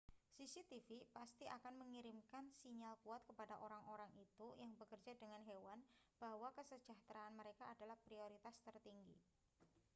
cctv pasti akan mengirimkan sinyal kuat kepada orang-orang itu yang bekerja dengan hewan bahwa kesejahteraan mereka adalah prioritas tertinggi